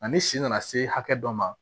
Ani si nana se hakɛ dɔ ma